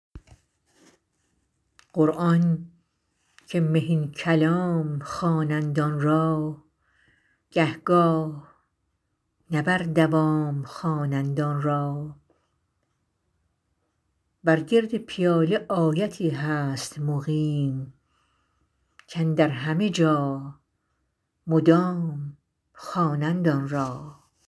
قرآن که مهین کلام خوانند آن را گه گاه نه بر دوام خوانند آن را بر گرد پیاله آیتی هست مقیم کاندر همه جا مدام خوانند آن را